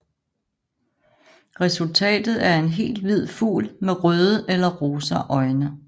Resultatet er en helt hvid fugl med røde eller rosa øjne